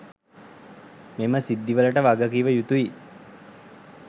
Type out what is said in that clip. මෙම සිද්ධිවලට වගකිවයුතුයි